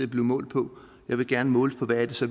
blive målt på jeg vil gerne måles på hvad det så